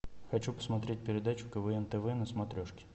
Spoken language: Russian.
хочу посмотреть передачу квн тв на смотрешке